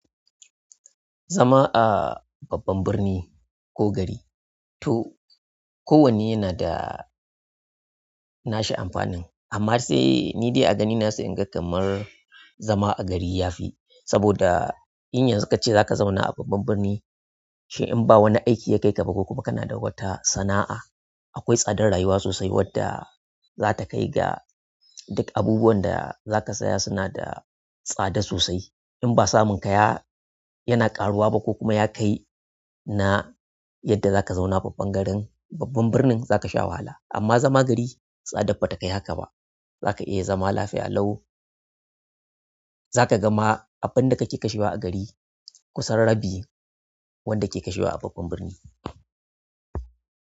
Zama a babban birni ko gari to kowanne yana da. Nashi amfanin amma sai ni dai a ganina sai inga kamar. Zama a gari yafi saboda in yanzu kace zaka zauna a babban birni. Shi in ba wani aiki ya kai ka ba ko kuma kana da wata sana'a akwai tsadar rayuwa sosai wadda za ta kai ga duk abubuwan da za ka saya suna da tsada sosai. In ba samun kaya yana ƙaruwa ba ko kuma ya kai na yadda za ka zauna a babban garin, babban birnin za ka sha wahala amma zama gari tsa dab batakai haka ba. Za ka iya zama lafiya lau. Zakaga ma abunda kake kashewa a gari kusan rabi. Wanda ke kashewa a babban birni.